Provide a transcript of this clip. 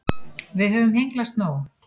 Við höfum hengslast nóg.